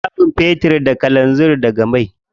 Ana samun fetir, kalanzir daga mai.